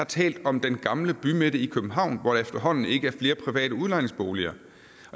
talt om den gamle bymidte i københavn hvor der efterhånden ikke er flere private udlejningsboliger